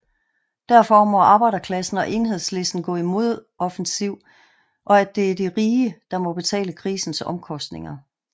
Derfor må arbejderklassen og Enhedslisten gå i modoffensiv og at det er de rige der må betale krisens omkostninger